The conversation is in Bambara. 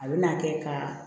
A bɛ na kɛ ka